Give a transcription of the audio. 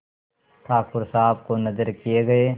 ठाकुर साहब को नजर किये गये